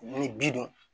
Ni bi dun